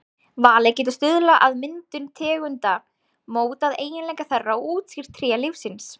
Valið getur stuðlað að myndun tegunda, mótað eiginleika þeirra og útskýrt tré lífsins.